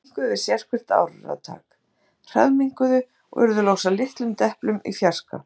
Þeir minnkuðu við sérhvert áratak, hraðminnkuðu, og urðu loks að litlum deplum í fjarska.